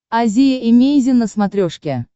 азия эмейзин на смотрешке